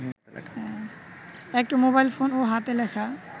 একটি মোবাইলফোন ও হাতে লেখা